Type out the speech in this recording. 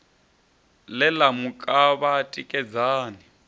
ḽe ḽa mu kavha tikedzani